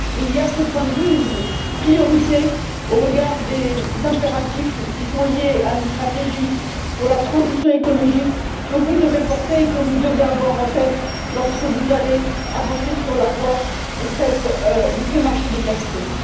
Il y a de ce point de vue une priorité au regard des impératifs qui sont liés à une stratégie pour la transition écologique que vous devez porter et que vous devez avoir en tête lorsque vous allez avancer sur la voie de ces marchés des capitaux.